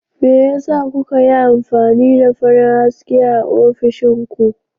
Me yasa kuka yi amfani da farin haske a ofishin ku?